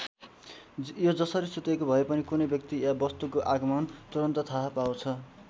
यो जसरी सुतेको भए पनि कुनै व्यक्ति या वस्तुको आगमन तुरुन्त थाहा पाउँछ।